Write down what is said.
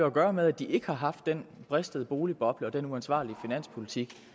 at gøre med at de ikke har haft den bristede boligboble og den uansvarlige finanspolitik